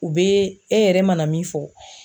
U bɛ e yɛrɛ mana min fɔ.